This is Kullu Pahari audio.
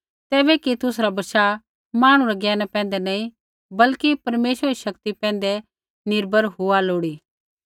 तैबै कि तुसरा बशाह मांहणु रै ज्ञाना पैंधै नैंई बल्कि परमेश्वरा री शक्ति पैंधै निर्भर हुआ लोड़ी